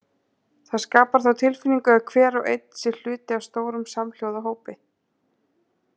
Það skapar þá tilfinningu að hver og einn sé hluti af stórum samhljóða hópi.